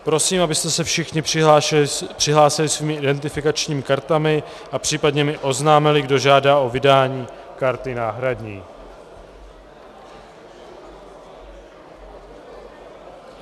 Prosím, abyste se všichni přihlásili svými identifikačními kartami a případně mi oznámili, kdo žádá o vydání karty náhradní.